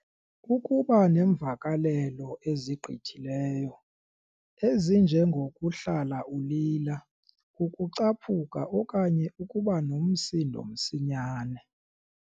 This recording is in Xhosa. Ukuba neemvakalelo ezigqithileyo, ezinjengo kuhlala ulila, ukucaphuka okanye ukuba nomsindo msinyane.